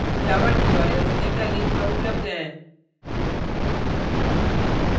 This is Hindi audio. java tutorials निम्न link पर उपलब्ध हैं